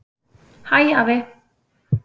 Hæ, afi.